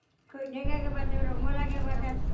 көйнек акеватыр румал акеватыр